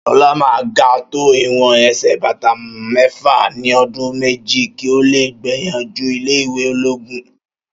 Ṣọlá máà ga tó ìwọn ẹsẹ bàtà méfà ní ọdún méjì, kìí ọ le gbìyànjú ilé ìwé ológun